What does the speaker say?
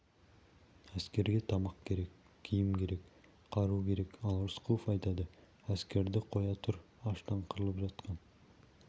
әскерге тамақ керек киім керек қару керек ал рысқұлов айтады әскерді қоя тұр аштан қырылып жатқан